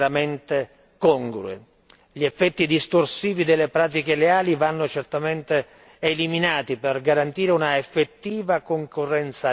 Gli effetti distorsivi delle pratiche leali vanno certamente eliminati per garantire un'effettiva concorrenza leale sul mercato europeo.